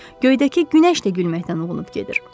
Göydəki günəş də gülməkdən uğunub gedir.